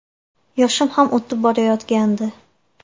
Yoshim ham o‘tib borayotgandi.